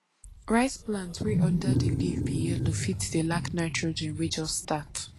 rice plant wey under di leaf be yellow fit dey lack nitrogen wey jus start